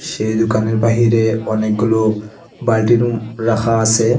সেই দোকানের বাহিরে অনেকগুলো বালটিরুম রাখা আসে।